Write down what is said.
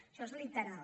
això és literal